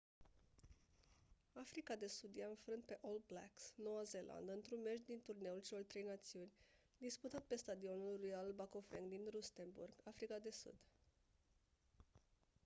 africa de sud i-a înfrânt pe all blacks noua zeelandă într-un meci din turneul celor trei națiuni disputat pe stadionul royal bafokeng din rustenburg africa de sud